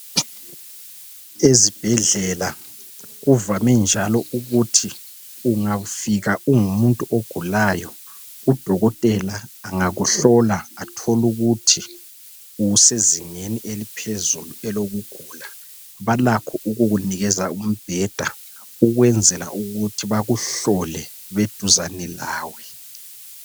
Ezibhedlela kuvame ukuthi ungafika ungumuntu ogulayo udokotela engakuhlola athole ukuthi usezingeni eliphezulu lokugula balakho ukukunikeza umbheda ukwenzela ukuthi bekuhlole beduzani lawe